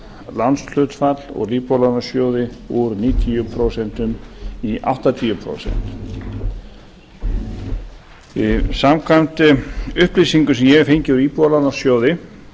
lánshlutfall úr íbúðalánasjóði úr níutíu prósent í áttatíu prósent samkvæmt upplýsingum sem ég hef fengið úr íbúðalánasjóði